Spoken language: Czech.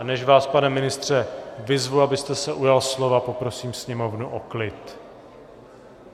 A než vás, pane ministře, vyzvu, abyste se ujal slova, poprosím sněmovnu o klid.